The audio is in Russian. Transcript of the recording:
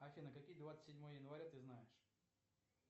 афина какие двадцать седьмое января ты знаешь